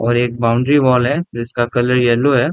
और एक boundary wall है जिसका कलर येलो है।